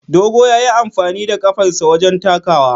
Dogo ya yi amfani da kafarsa wajen takawa.